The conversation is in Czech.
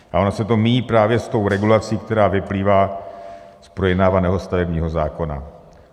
A ono se to míjí právě s tou regulací, která vyplývá z projednávaného stavebního zákona.